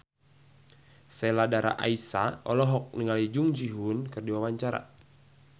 Sheila Dara Aisha olohok ningali Jung Ji Hoon keur diwawancara